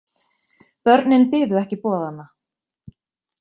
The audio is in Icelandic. Börnin biðu ekki boðanna.